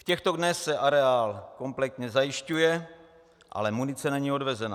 V těchto dnech se areál kompletně zajišťuje, ale munice není odvezena.